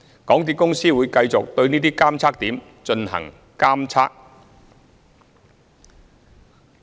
港鐵公司會繼續對這些監測點進行監測。